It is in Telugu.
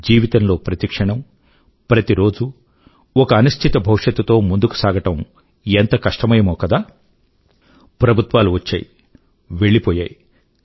జీవితం లో ప్రతి క్షణం ప్రతి రోజూ ఒక అనిశ్చిత భవిష్యత్తు తో ముందుకు నడవడం ఎంత కష్టమయమో కదా ప్రభుత్వాలు వచ్చాయి వెళ్ళిపోయాయి